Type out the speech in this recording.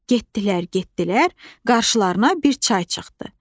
Getdilər, getdilər, qarşılarına bir çay çıxdı.